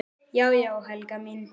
Já já, Helga mín.